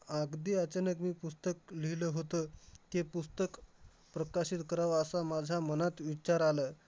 अगदी अचानक मी पुस्तक लिहिलं होतं की, पुस्तक प्रकाशित करावं असा माझ्या मनात विचार आलं.